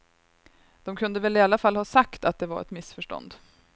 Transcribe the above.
De kunde väl i alla fall ha sagt att det var ett missförstånd.